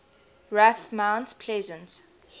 raf mount pleasant